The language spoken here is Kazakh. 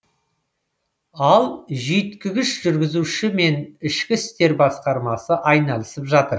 ал жүйткігіш жүргізушімен ішкі іштер басқармасы айналысып жатыр